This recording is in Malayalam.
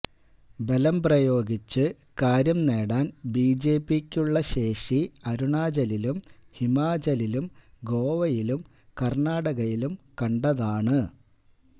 ബലംപ്രയോഗിച്ചു കാര്യം നേടാൻ ബിജെപിക്കുള്ള ശേഷി അരുണാചലിലും ഹിമാചലിലും ഗോവയിലും കർണാടകയിലും കണ്ടതാണ്